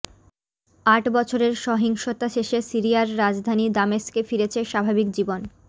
আট বছরের সহিংসতা শেষে সিরিয়ার রাজধানী দামেস্কে ফিরেছে স্বাভাবিক জীবন